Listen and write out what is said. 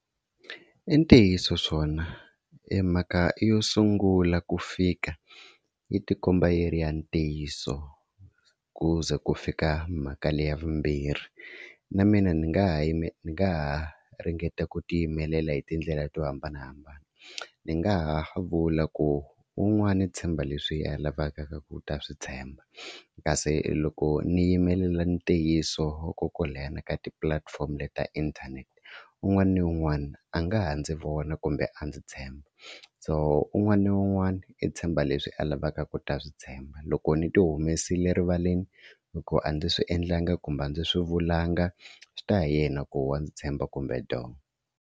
I ntiyiso swona emhaka yo sungula ku fika yi ti komba yi ri ya ntiyiso ku ze ku fika mhaka leyi ya vumbirhi, na mina ni nga ha yi ni nga ha ringeta ku ti yimelela hi tindlela to hambanahambana. Ndzi nga ha vula ku un'wana i tshemba leswi yena a lavaka ku ta swi tshemba, kasi loko ni yimelela ntiyiso ko kwaleno ka tipulatifomo leti ta internet un'wana na un'wana a nga ha ndzi vona kumbe a ndzi tshemba. So un'wana na un'wana i tshemba leswi a lavaka ku ta swi tshemba loko ni ti humesile rivaleni hikuva a ndzi swi endlanga kumbe a ndzi swi vulanga swi ta hi yena ku wa ndzi tshemba kumbe do.